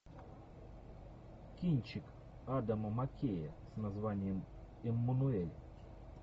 кинчик адама маккея с названием эммануэль